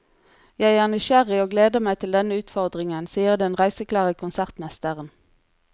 Jeg er nysgjerrig og gleder meg til denne utfordringen, sier den reiseklare konsertmesteren.